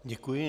Děkuji.